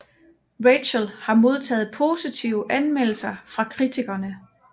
Rachel har modtaget positive anmeldelser fra kritikerne